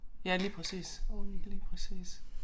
Ja lige præcis lige præcis